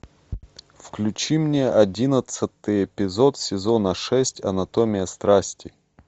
включи мне одиннадцатый эпизод сезона шесть анатомия страсти